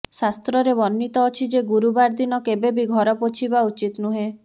ଶାସ୍ତ୍ରରେ ବର୍ଣ୍ଣିତ ଅଛି ଯେ ଗୁରୁବାର ଦିନ କେବେ ବି ଘର ପୋଛିବା ଉଚିତ ନୁହେଁ